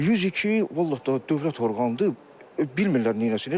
102, vallahi dövlət orqanıdır, bilmirlər neyləsinlər.